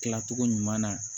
Kilacogo ɲuman na